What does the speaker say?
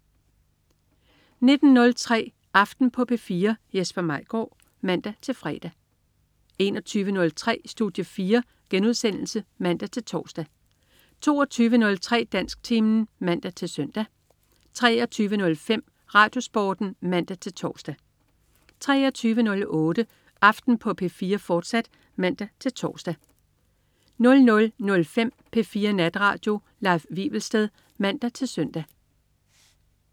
19.03 Aften på P4. Jesper Maigaard (man-fre) 21.03 Studie 4* (man-tors) 22.03 Dansktimen (man-søn) 23.05 RadioSporten (man-tors) 23.08 Aften på P4, fortsat (man-tors) 00.05 P4 Natradio. Leif Wivelsted (man-søn)